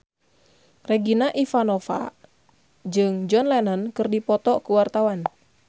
Regina Ivanova jeung John Lennon keur dipoto ku wartawan